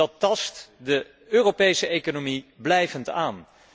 Dat tast de Europese economie blijvend aan.